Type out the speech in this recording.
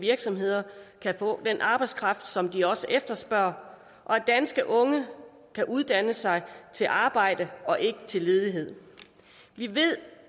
virksomheder kan få den arbejdskraft som de også efterspørger og at danske unge kan uddanne sig til arbejde og ikke til ledighed vi ved